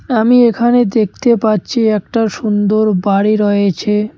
আমি এখানে দেখতে পাচ্ছি একটা সুন্দর বাড়ি রয়েছে।